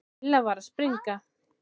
Lilla var að springa.